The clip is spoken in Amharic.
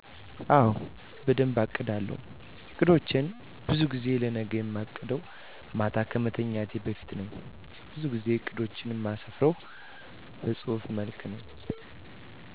አወ በደንብ አቅዳለው። አቅዶቸን በዙ ጊዜ ለነገ እማቅደው ማታ ከመተኛቴ በፊት ነው በዙ ጊዜ እቅዶቸን እማስፍርው በጹህፍ መልክ ነው።